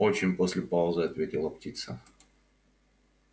очень после паузы ответила птица